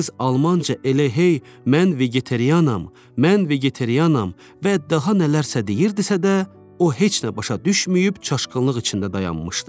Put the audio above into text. Qız almanca elə hey, mən vegetarianam, mən vegetarianam və daha nələrsə deyirdisə də, o heç nə başa düşməyib çaşqınlıq içində dayanmışdı.